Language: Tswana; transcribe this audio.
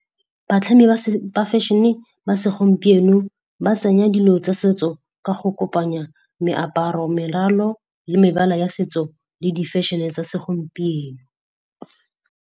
Batlhami ba fashion-e ba segompieno ba tsenya dilo tsa setso ka go kopanya meaparo, meralo le mebala ya setso le di fashion-e tsa segompieno.